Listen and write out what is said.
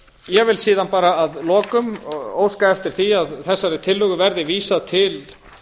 ég vil síðan bara að lokum óska eftir því að þessari tillögu verði vísað til